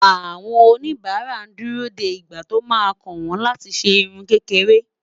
àwọn oníbara dù rò dé ìgbà tó má kàn wọn láti ṣé irún kékeré